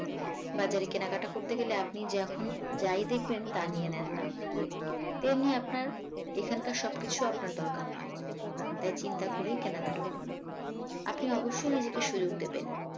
বাজারে কেনাকাটা করতে গেলে আপনি যখন যাই দেখবেন তা নিয়ে নেন না তেমনি আপনার এখনকার সবকিছু আপনার দরকার নয় তাই চিন্তা করেই কেনাকাটা করুন আপনি অবশ্যই নিজেকে সুযোগ দেবেন